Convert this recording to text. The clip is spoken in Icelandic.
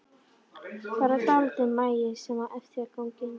Bara dálítill magi sem á eftir að ganga inn.